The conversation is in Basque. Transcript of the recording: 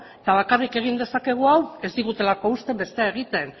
eta bakarrik egin dezakegu hau ez digutelako uzten bestea egiten